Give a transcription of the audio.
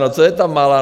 No, co je ta Malá?